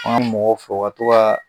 An ka mɔgɔw fɔ o ka to ka